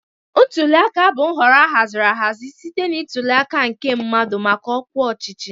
Ntuli aka bụ nhọrọ ahaziri ahazi site na ntuli aka nke mmadụ maka ọkwa ọchịchị